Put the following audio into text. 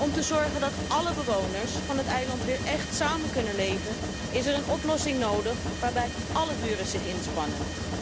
Om te zorgen dat alle bewoners van het eiland weer echt samen kunnen leven is er een oplossing nodig waarbij álle buren zich inspannen.